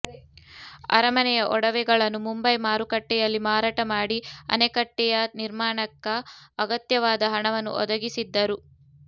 ಅರಮನೆಯ ಒಡವೆಗಳನ್ನು ಮುಂಬೈ ಮಾರುಕಟ್ಟೆಯಲ್ಲಿ ಮಾರಾಟ ಮಾಡಿ ಅಣೆಕಟ್ಟೆಯ ನಿರ್ಮಾಣಕ್ಕ ಅಗತ್ಯವಾದ ಹಣವನ್ನು ಒದಗಿಸಿದ್ದರು